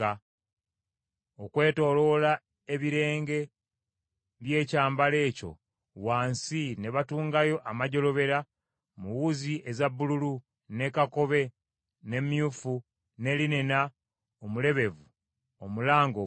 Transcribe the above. Okwetooloola ebirenge by’ekyambalo ekyo wansi ne batungayo amajjolobera mu wuzi eza bbululu, ne kakobe, ne myufu, ne linena omulebevu omulange obulungi.